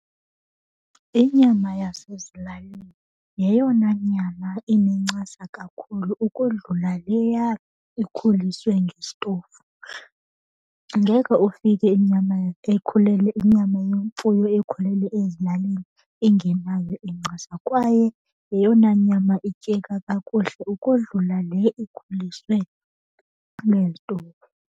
Inyama yasezilalini yeyona nyama inencasa kakhulu ukodlula leya ikhuliswe ngesitofu. Ngeke ufike inyama ekhulele, inyama yemfuyo ekhulele ezilalini ingenayo incasa kwaye yeyona nyama ityeka kakuhle ukodlula le ikhuliswe ngezitofu.